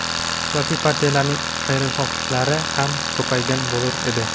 siyosiy partiyalarning xayrixohlari ham ko‘paygan bo‘lur edi.